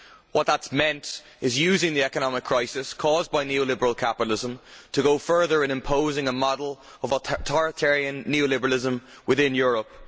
What that meant is using the economic crisis, caused by neo liberal capitalism, to go further in imposing a model of authoritarian neo liberalism in Europe.